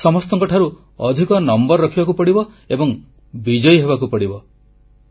ସମସ୍ତଙ୍କଠାରୁ ଅଧିକ ନମ୍ବର ରଖିବାକୁ ପଡ଼ିବ ଏବଂ ବିଜୟୀ ହେବାକୁ ପଡ଼ିବ